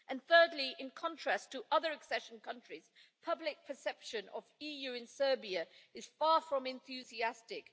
And thirdly, in contrast to other accession countries, public perception of EU in Serbia is far from enthusiastic.